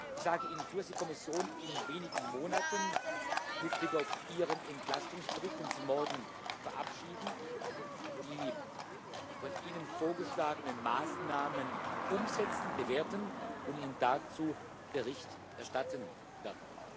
Ich sage Ihnen zu, dass die Kommission in wenigen Monaten mit Blick auf Ihren Entlastungsbericht, den Sie morgen verabschieden, die von Ihnen vorgeschlagenen Maßnahmen umsetzen, bewerten und Ihnen dazu Bericht erstatten wird.